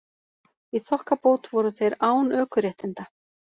Í þokkabót voru þeir án ökuréttinda